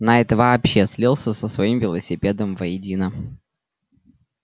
найд вообще слился со своим велосипедом воедино